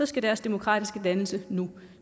skal deres demokratiske dannelse nu